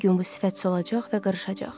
Bir gün bu sifət solacaq və qırışacaq.